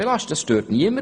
Das stört niemanden.